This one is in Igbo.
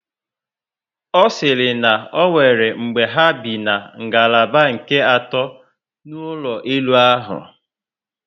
Ọ siri na onwere mgbe ha bi na ngalaba nke ato n'ụlọ elu ahụ